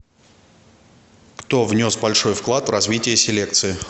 кто внес большой вклад в развитие селекции